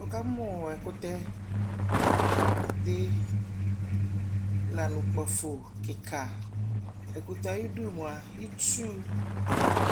wʋkamʋ ɛkʋtɛ di lanʋ ʋkpaƒɔ kikaa, ɛkʋtɛ ayidʋ mʋa itsʋ,